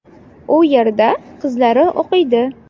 U yerda qizlari o‘qiydi.